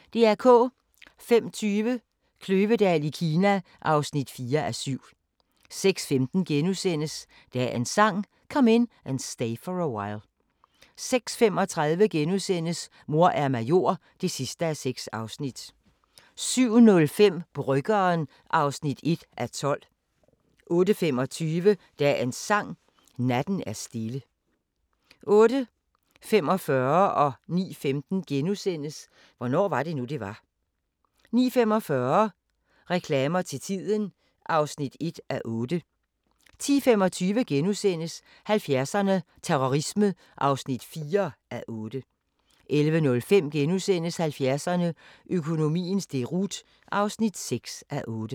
05:20: Kløvedal i Kina (4:7) 06:15: Dagens Sang: Come In And Stay For A While * 06:35: Mor er major (6:6)* 07:05: Bryggeren (1:12) 08:25: Dagens Sang: Natten er stille 08:45: Hvornår var det nu, det var? * 09:15: Hvornår var det nu, det var? * 09:45: Reklamer til tiden (1:8) 10:25: 70'erne: Terrorisme (4:8)* 11:05: 70'erne: Økonomiens deroute (6:8)*